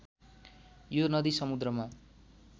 यो नदी समुन्द्रमा